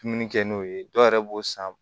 Dumuni kɛ n'o ye dɔw yɛrɛ b'o san